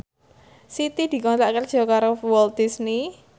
Siti dikontrak kerja karo Walt Disney